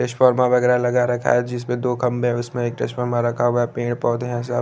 इस्फुला वगेरा लगा रखा है जिसपे दो खम्बे है उसमें एक रखा हुआ पेड़ पोधे है साब--